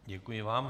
Děkuji vám.